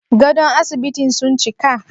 Gadon asibitin sun cika?